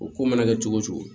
O ko mana kɛ cogo o cogo